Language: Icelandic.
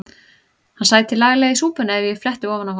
Hann sæti laglega í súpunni ef ég fletti ofan af honum.